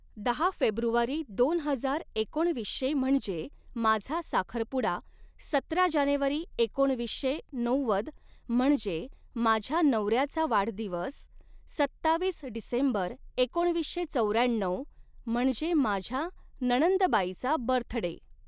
दहा फेब्रुवारी दोन हजार एकोणवीसशे म्हणजे माझा साखरपुडा सतरा जानेवारी एकोणवीसशे नव्वद म्हणजे माझ्या नवऱ्याचा वाढदिवस सत्तावीस डिसेंबर एकोणवीसशे चौऱ्याण्णव म्हणजे माझ्या नणंदबाईचा बर्थडे